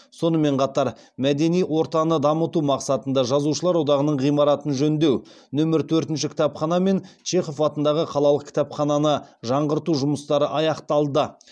сонымен қатар мәдени ортаны дамыту мақсатында жазушылар одағының ғимаратын жөндеу нөмір төртінші кітапхана мен чехов атындағы қалалық кітапхананы жаңғырту жұмыстары аяқталды